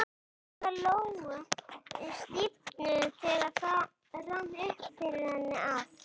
Herðar Lóu stífnuðu þegar það rann upp fyrir henni að